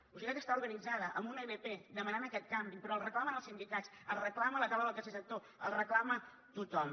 la societat està organitzada amb una ilp demanant aquest canvi però el reclamen els sindicats el reclama la taula del tercer sector el reclama tothom